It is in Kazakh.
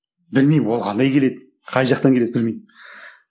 білмеймін ол қандай келеді қай жақтан келеді білмеймін